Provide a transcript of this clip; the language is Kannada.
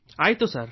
ಆಯ್ತು ಸರ್